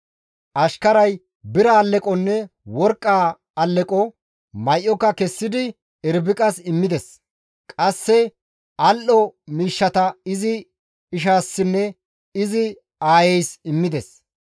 Ashkarazi bira alleqonne worqqaa alleqo, may7oka kessidi Irbiqas immides; qasse al7o miishshata izi ishassinne izi aayeys immides.